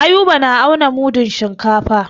Ayuba na auna mudun shinkafa.